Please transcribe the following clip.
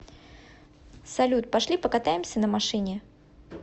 салют пошли покатаемся на машине